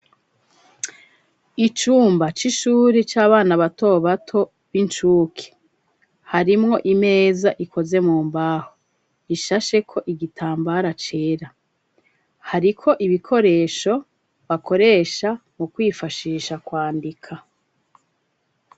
Icumba c'ishuri c'abana bato bato b'incuke harimwo imeza ikoze mu mbaho ishashe ko igitambara cera hari ko ibikoresho bakoresha mu kwifashisha kwandika.